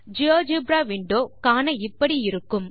GeoGebra window காண இப்படி இருக்கும்